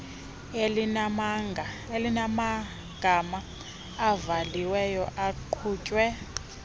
elinamagama ivaliwe iqhutywe